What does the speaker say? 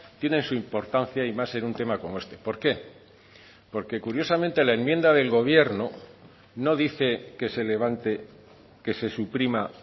tienen su importancia y más en un tema como este por qué porque curiosamente la enmienda del gobierno no dice que se levante que se suprima